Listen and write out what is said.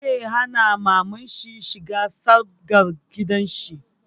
Zai hana mamanshi shiga sabgar gidanshi